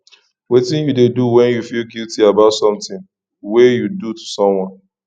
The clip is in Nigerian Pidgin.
wetin you dey do when you feel guilty about something wey you do to someone